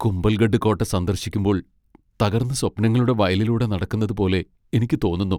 കുംഭൽഗഡ് കോട്ട സന്ദർശിക്കുമ്പോൾ തകർന്ന സ്വപ്നങ്ങളുടെ വയലിലൂടെ നടക്കുന്നതുപോലെ എനിക്ക് തോന്നുന്നു.